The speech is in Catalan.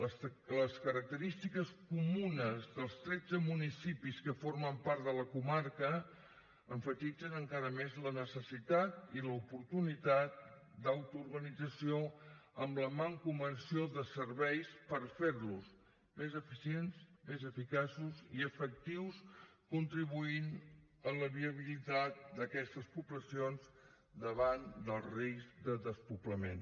les característiques comunes dels tretze municipis que formen part de la comarca emfatitzen encara més la necessitat i l’oportunitat d’autoorganització amb la mancomunació de serveis per fer los més eficients més eficaços i efectius contribuint a la viabilitat d’aquestes poblacions davant del risc de despoblament